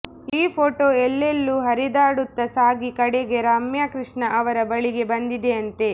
ಈ ಫೋಟೋ ಎಲ್ಲೆಲ್ಲೂ ಹರಿದಾಡುತ್ತಾ ಸಾಗಿ ಕಡೆಗೆ ರಮ್ಯಾಕೃಷ್ಣ ಅವರ ಬಳಿಗೆ ಬಂದಿದೆಯಂತೆ